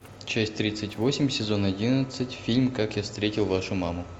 часть тридцать восемь сезон одиннадцать фильм как я встретил вашу маму